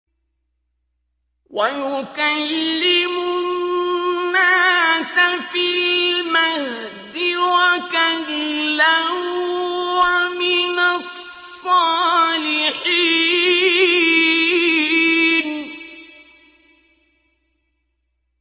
وَيُكَلِّمُ النَّاسَ فِي الْمَهْدِ وَكَهْلًا وَمِنَ الصَّالِحِينَ